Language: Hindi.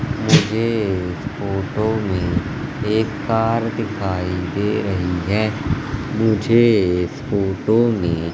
मुझे इस फोटो में एक कार दिखाई दे रही है मुझे इस फोटो में--